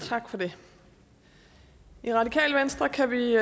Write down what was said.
tak for det i radikale venstre kan vi